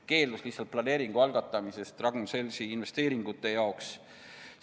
– keeldus lihtsalt algatamast planeeringut Ragn-Sellsi investeeringute tegemiseks.